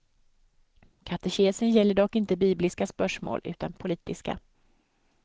Katekesen gäller dock inte bibliska spörsmål, utan politiska.